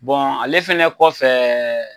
ale fɛnɛ kɔfɛ.